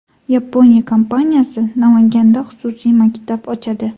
Yaponiya kompaniyasi Namanganda xususiy maktab ochadi.